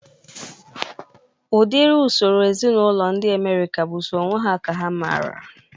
Udiri usoro ezinaụlọ ndị Amerịka bụ sọ onwe ha ka ha mara